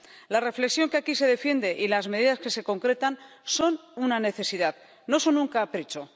La reflexión que aquí se defiende y las medidas que se concretan son una necesidad, no son un capricho.